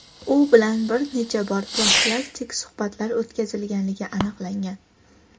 u bilan bir necha bor profilaktik suhbatlar o‘tkazilganligi aniqlangan.